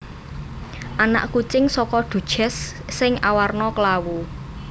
Anak kucing saka Duchess sing awarna klawu